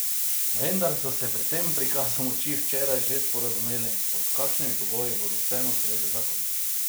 Vendar so se po tem prikazu moči včeraj že sporazumeli, pod kakšnimi pogoji bodo vseeno sprejeli zakon.